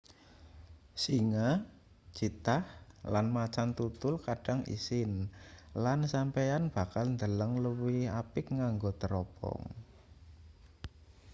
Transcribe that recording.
singa cheetah lan macan tutul kadang isin lan sampeyan bakal ndeleng luwih apik nganggo tropong